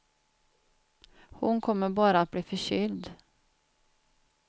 Hon kommer bara att bli förkyld.